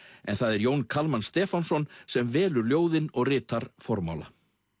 en það er Jón Kalman Stefánsson sem velur ljóðin og ritar formála